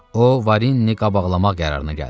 O Varinini qabaqlamaq qərarına gəldi.